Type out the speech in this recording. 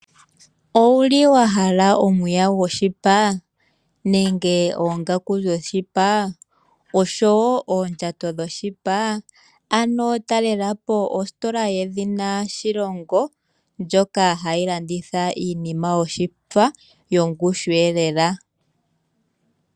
Owahala epaya lyoshipa nenge oongaku dhoshipa oshowo oondjato dhoshipa? Talelapo ostola yedhina Shilongo ndjoka hayi landitha iinima yoshipa yongushu lela.